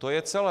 To je celé.